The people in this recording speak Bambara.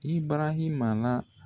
I barahima na